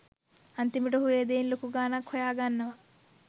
අන්තිමට ඔහු ඒ දෙයින් ලොකු ගානක් හොයාගන්නවා.